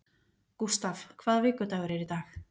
Gustav, hvaða vikudagur er í dag?